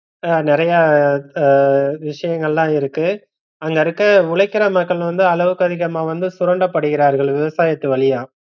நிறையா ஆஹ் விஷயங்கள்ளாம் இருக்கு அங்க இருக்கிற உழைக்கற மக்கள் வந்து அளவுக்கதிகமா வந்து சுரண்டபடுகிறார்கள் விவசாயத்து வழியா